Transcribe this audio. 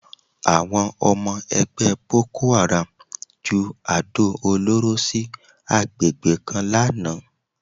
Àwọn ọmọ ẹgbẹ́ bokoáràm ju àdó olóró sí àgbègbè kan lánàá